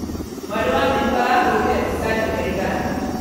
Mwarĩ wa maitũ arahũrire mbica njega ira